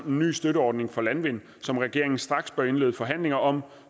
en ny støtteordning til landvind som regeringen straks bør indlede forhandlinger om